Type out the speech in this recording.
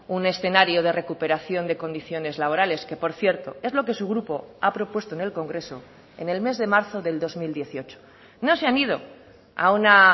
un escenario de recuperación de condiciones laborales que por cierto es lo que su grupo ha propuesto en el congreso en el mes de marzo del dos mil dieciocho no se han ido a una